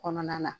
Kɔnɔna na